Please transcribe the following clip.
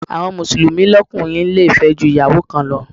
Àwọn Mùsùlùmí lókùnrin le fẹ́ ju Ìyàwó kan lọ.